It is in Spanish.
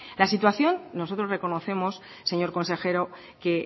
la situación nosotros reconocemos señor consejero que